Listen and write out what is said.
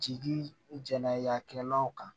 Jigi jɛnɛ y'a kɛlaw kan